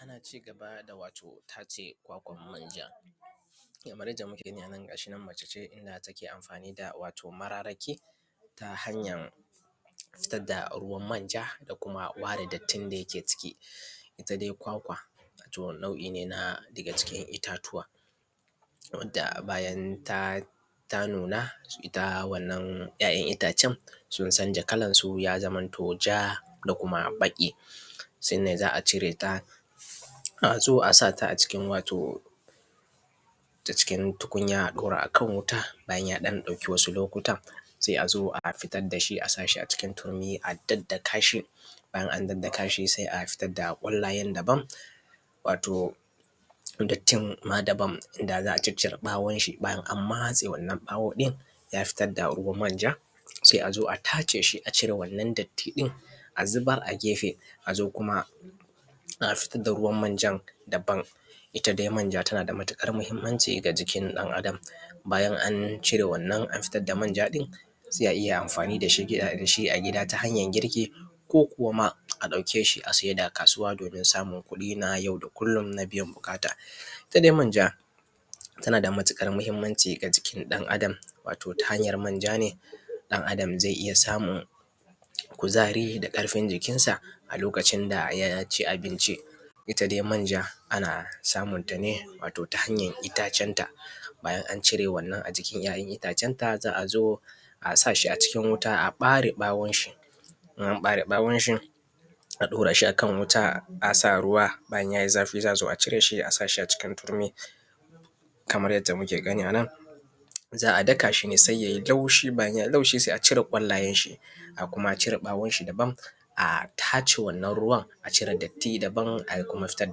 Ana cigaba da wato tace kwakwan manja, kamar yacce muke gani anan gashinan mace ce inda take amfani da wato mararaki ta hanyan nitsadda ruwan manja da kuma ɓare dattin da yake ciki. Itta da kwakwa wato wata nau’ine na daga cikin ittatuwa wanda bayan ta nuna itta wannan ‘ya’ ‘yan’ ittacen sun canja kalansu zamanto ja da kuma baƙi. Sannan za’a cire ta azo a sata a cikin wato ta cikin tukunya a dora a wuta bayan ya ɗan ɗauki wasu lokuta sai azo a fitar dashi a sashi a cikin turmi a daka, in an daddakashi sai a fitar da kwallayen daban to dattin ma daban daza’a ciccre ɓawonshi bayan an matse wannan ɓawo ɗin ya fitar da manja sai azo taceshi a cire wannan datti ɗin a zubar gefe azo kuma a fitar da ruwan manjan daban. Itta dai manja tanada matuƙar mahimmanci ga jikin ɗan Adam bayan an cire wannan an fitar da manja ɗin sai ayi amfani dashi a gida ta hanyar girki ko kuwa ma a ɗauke shi a saida a kasuwa domin samun kuɗi na yau da kullum domin biyan buƙata. Itta dai manja tanada matuƙar mahimmanci ga jikin ɗan Adam ta hanyar manja ne ɗan Adam zai iyya samun kuzari da ƙarfin jikinsa lokacin da yaci abinci, ita dai manja ana samun tane to ta hanyan ittacen ta bayan an cire ‘ya’ ‘yan’ ittacen ta za’azo a sashi a cikin wuta a ɓare ɓawonshi in an ɓare ɓawonshi a ɗorashi akan wuta asa ruwa bayan yayi zafi za’azo a sashi a cikin turmi Kaman dai yadda muke gani anan a daka shine sai yayi taushi bayan yayi taushi sai acire kwallonshi a koma a cire ɓawonshi daban a tace wannan ruwan a cire datti daban a kuma fitar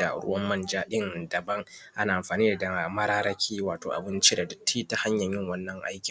da ruwan manja daban ana amfani da mararaki wato abun cire ta hanyan yin wanna aikin.